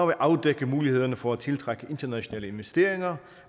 vil afdække mulighederne for at tiltrække internationale investeringer